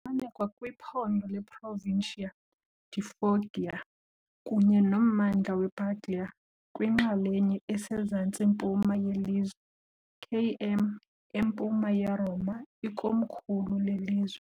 Ifumaneka kwiphondo leProvincia di Foggia kunye nommandla wePuglia, kwinxalenye esezantsi-mpuma yelizwe, km empuma yeRoma, ikomkhulu lelizwe.